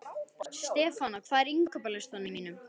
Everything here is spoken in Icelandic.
Stefana, hvað er á innkaupalistanum mínum?